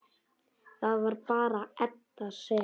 Það var bara Edda sem.